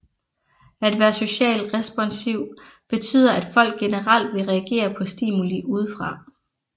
At være socialt responsiv betyder at folk generelt vil reagere på stimuli udefra